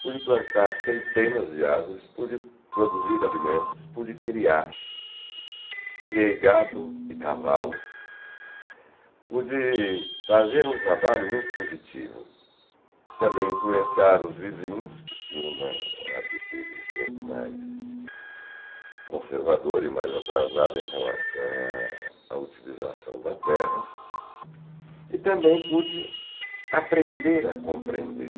pude plantar centenas de árvores, pude produzir alimentos, pude criar criei gado e cavalo pude fazer um trabalho muito positivo também influenciar os vizinhos que tinham uma atitude um pouco mais conservadora e mais atrasada em relação a a utilização da terra e também pude aprender a compreender